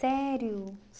Sério?